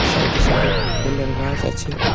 side -এ side -এ ফুলের গাছ আছে |